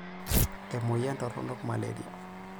Emoyian toronok maleria.